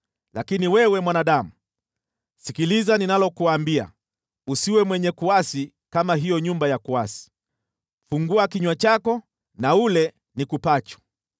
Lakini wewe mwanadamu, sikiliza ninalokuambia. Usiwe mwenye kuasi kama hiyo nyumba ya kuasi. Fungua kinywa chako na ule nikupacho.”